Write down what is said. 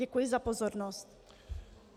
Děkuji za pozornost.